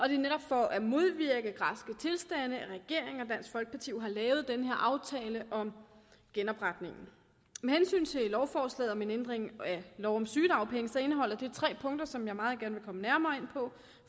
er jo netop for at modvirke græske tilstande at regeringen og dansk folkeparti har lavet den her aftale om genopretningen lovforslaget om en ændring af lov om sygedagpenge indeholder tre punkter som jeg meget gerne vil komme nærmere ind på